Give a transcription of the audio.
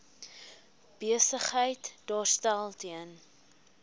besigheid daarstel ten